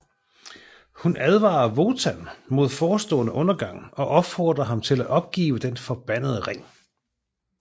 Hun advarer Wotan mod forestående undergang og opfordrer ham til at opgive den forbandede ring